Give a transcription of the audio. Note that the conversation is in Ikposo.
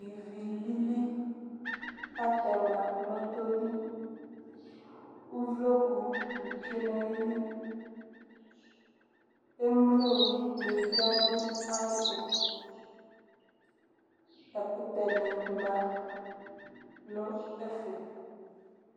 Ivi lili atɛma nʋ ɔtɔli Uvlokʋ ni tsue n'ayili Emlo ni ya nʋ ayɛtʋ Ɛkʋtɛ ni ma nʋ ɛfɛ